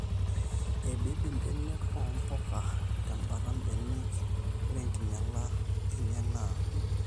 eibibi mbenek oomboga tembata mbenek. ore enkinyala enye naa: